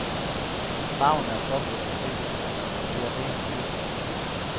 Farverne er påført med silketryk, og det er en rimelig dyr proces.